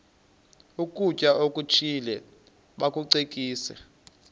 ukutya okuthile bakucekise